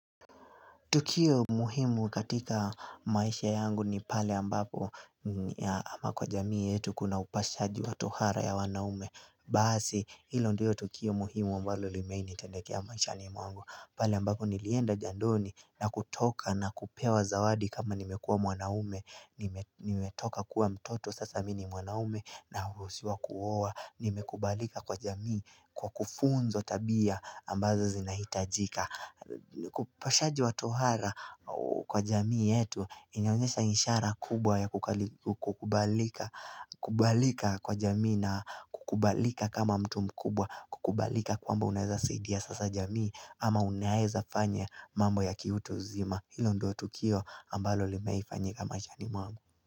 Tukio muhimu katika maisha yangu ni pale ambapo ama kwa jamii yetu kuna upashaji wa tohara ya wanaume Basi hilo ndio tukio muhimu ambalo limewai ni tendekea maishani mwangu pale ambapo nilienda jandoni na kutoka na kupewa zawadi kama nimekua mwanaume nimetoka kuwa mtoto sasa mini mwanaume na urusiwa kuowa Nimekubalika kwa jamii kwa kufunzwa tabia ambazo zinahitajika kupashaji watohara kwa jamii yetu Iniaonyesha inshara kubwa ya kukubalika Kukubalika kwa jamii na kukubalika kama mtu mkubwa Kukubalika kwamba unaeza saidia sasa jamii ama unaeza fanya mambo ya kiutu uzima Hio ndo tukio ambalo limaifanyika mashani mwangu.